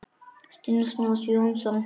Stríðin snúast jú um það.